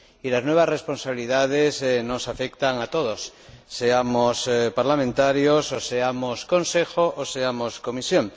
Y las nuevas responsabilidades nos afectan a todos, seamos parlamentarios, seamos Consejo o seamos Comisión.